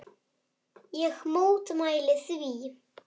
Ég mótmæli því.